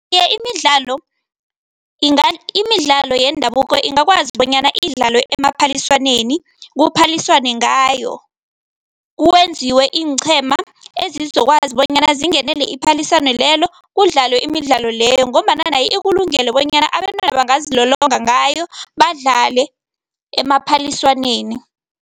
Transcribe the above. Iye, imidlalo imidlalo yendabuko ingakwazi bonyana idlalwe emaphaliswaneni, kuphaliswane ngayo, kwenziwe iinqhema ezizokwazi bonyana zingenele iphaliswano lelo kudlalwe imidlalo leyo ngombana nayo ikulungele bonyana abentwana bangazilolongi ngayo, badlale emaphaliswaneni.